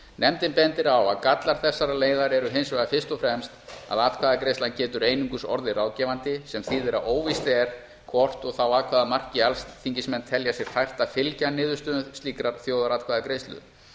nefndin bendir á að gallar þessarar leiðar eru hins vegar fyrst og fremst að atkvæðagreiðslan getur einungis orðið ráðgefandi sem þýðir að óvíst er hvort og þá að hvaða marki alþingismenn telja sér fært að fylgja niðurstöðum slíkrar þjóðaratkvæðagreiðslu